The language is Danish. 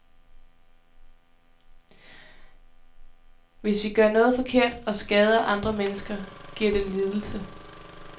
Hvis vi gør noget forkert og skader andre mennesker, giver det lidelse.